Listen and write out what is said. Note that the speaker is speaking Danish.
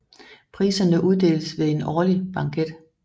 Priserne uddeles ved en årlig banket